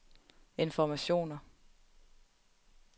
informationer